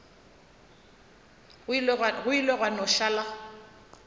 go ile gwa no šala